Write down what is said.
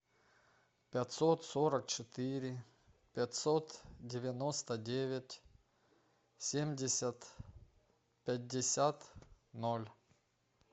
пятьсот сорок четыре пятьсот девяносто девять семьдесят пятьдесят ноль